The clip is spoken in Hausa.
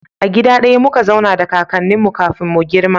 A gida daya muka zauna da kakannin mu kafin mu girma